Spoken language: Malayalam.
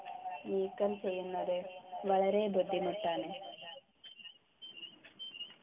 നീക്കം ചെയ്യുന്നത് വളരെ ബുദ്ധിമുട്ടാണ്